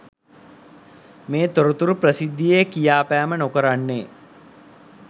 මේ තොරතුරු ප්‍රසිද්ධියේ කියාපෑම නොකරන්නේ